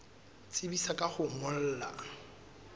tsebisa ka ho o ngolla